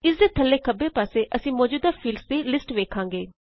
ਇਸਦੇ ਥੱਲੇ ਖੱਬੇ ਪਾਸੇ ਅਸੀਂ ਮੌਜੂਦਾ ਫੀਲਡਸ ਦੀ ਲਿਸਟ ਵੇਖਾਂਗੇ